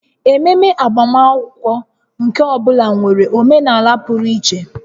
Ememe agbamakwụkwọ nke ọ bụla nwere omenala pụrụ iche